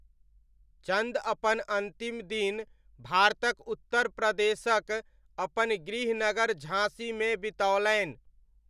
चन्द अपन अन्तिम दिन भारतक उत्तर प्रदेशक अपन गृहनगर झाँसीमे बितओलनि।